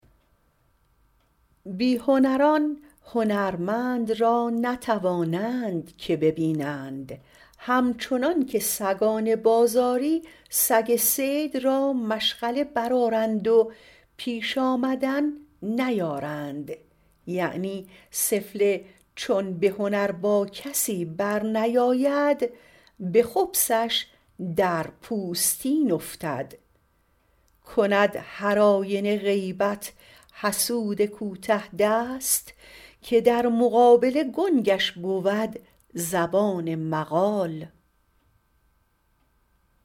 بی هنران هنرمند را نتوانند که بینند همچنان که سگان بازاری سگ صید را مشغله برآرند و پیش آمدن نیارند یعنی سفله چون به هنر با کسی برنیاید به خبثش در پوستین افتد کند هر آینه غیبت حسود کوته دست که در مقابله گنگش بود زبان مقال